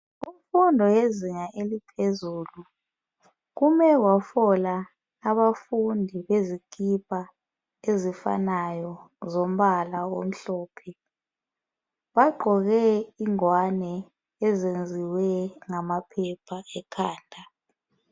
Kumfundo yezinga eliphezulu kume kwafola abafundi lezikipa ezifanayo zombala omhlophe bagqoke ingwane ezenziwa ngamaphepha ekhanda.